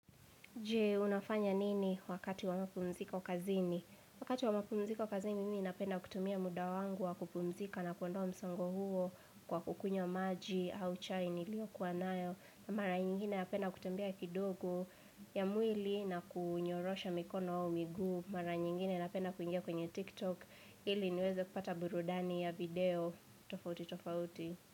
Je, unafanya nini wakati wa mapumziko kazini? Wakati wa mapumziko kazini, mimi ninapenda kutumia muda wangu wa kupumzika na kuondoa msongo huo kwa kukunywa maji, au chai, niliyokuwa nayo. Mara nyingine napenda kutembea kidogo ya mwili na kunyorosha mikono au miguu. Mara nyingine napenda kuingia kwenye TikTok. Ili niweze kupata burudani ya video. Tofauti, tofauti.